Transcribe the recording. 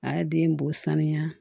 A ye den bɔ sanuya